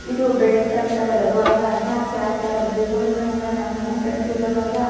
ಇದು ಬೆಟ್ ತಟ್ತಾ ಇರೋದು ಅಂದ್ರ್ ತಾರ್ಸಿ ಹಾಕ್ತ ಇರೋದು ಇದ್ ನೋಡಿದ್ರೆ ನಂಗ ನಮ್ಮ್ ಮನೆ ಕಟ್ಟ್ ತಿರಬೇಕಾದ್ರ --